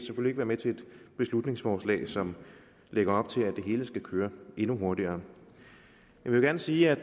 være med til et beslutningsforslag som lægger op til at det hele skal køre endnu hurtigere jeg vil gerne sige at